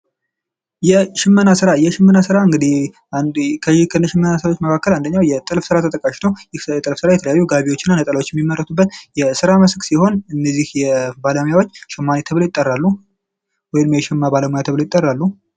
የሽመና ስራ የሽመና ስራ እንግዲ ከሽመና ስራዎች መካከል አንደኛው የጥልፍ ስራ ተጠቃሽ ነው። ይህ የጥልፍ ስራ የተለያዩ ጋቢዎችና ነጠላዎች የሚመረቱበት የስራ መስክ ሲሆን እነዚህ ባለሙያዎች ሸማኔ ተብለው ይጠራሉ። ወይም የሸማ ባለሙያ ተብለው ይጠራሉ።